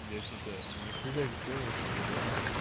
я что-то ни хрена не понял как бы да